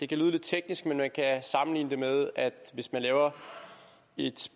kan lyde lidt teknisk men man kan sammenligne det med at hvis man laver et